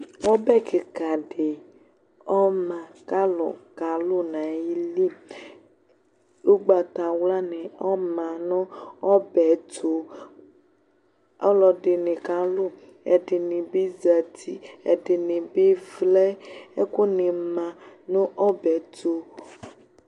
Ɔbɛ kikaɖi ɔma kalu kalʊ nayili, ugbatawlani ɔma nu ɔbɛtu, alɔɖini kalu, ɛdinibi zati, ɛdinibivlɛ Ɛkuni ma nu ɔbɛtu